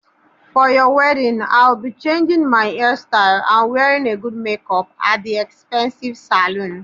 For your wedding, I'll be changing my hairstyle, and wearing a good makeup at the expensive salon.